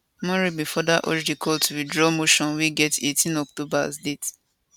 omorogbe further urge di court to withdraw motion wey get 18 october as date